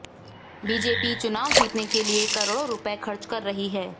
BJP चुनाव जीतने के लिए करोड़ों रुपये खर्च कर रही है